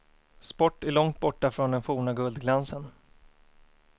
Sport är långt borta från den forna guldglansen.